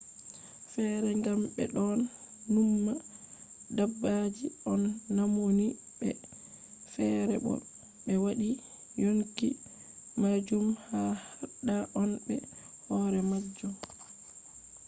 feere kam ɓe ɗon numma dabbaji on maunini ɓe; feere bo ɓe waɗi yonki majum ha ladda on be hoore majum